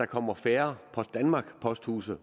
kommer færre post danmark posthuse